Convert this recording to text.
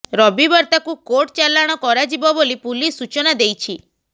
ରବିବାର ତାକୁ କୋର୍ଟ ଚାଲାଣ କରାଯିବ ବୋଲି ପୁଲିସ ସୂଚନା ଦେଇଛି